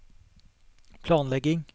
planlegging